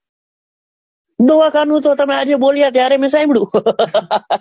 દવાખાનું તો તમે આજે બોલ્યા ત્યારે મેં સાંભળ્યું